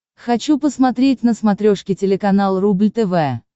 хочу посмотреть на смотрешке телеканал рубль тв